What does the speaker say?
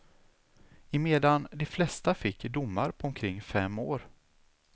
Emedan de flesta fick domar på omkring fem år.